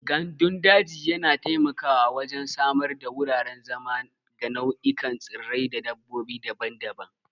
Gandun daji yana taimakawa wajen samar da wuraren zama ga nau'ikan tsirrai da dabbobi daban-daban.